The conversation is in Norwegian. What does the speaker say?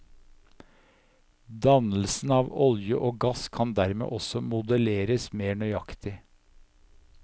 Dannelsen av olje og gass kan dermed også modelleres mer nøyaktig.